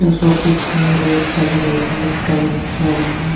सो piece पे red colour और white colour किया हुआ है।